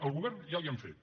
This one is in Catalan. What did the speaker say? el govern ja li han fet